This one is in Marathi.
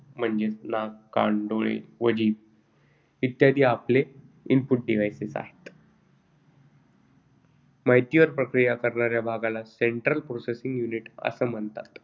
म्हणजेच नाक, कान, डोळे व जीभ इत्यादी आपले input devices आहेत, माहितीवर प्रक्रिया करणाऱ्या भागाला central processing unit अस म्हणतात.